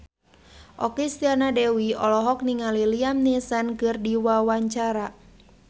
Okky Setiana Dewi olohok ningali Liam Neeson keur diwawancara